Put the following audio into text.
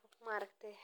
ay helaan cunto nafaqo leh.